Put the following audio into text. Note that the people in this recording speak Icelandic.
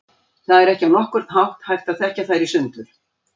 Það er ekki á nokkurn hátt hægt að þekkja þær í sundur.